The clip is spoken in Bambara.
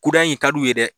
Kura in ka d'u ye dɛ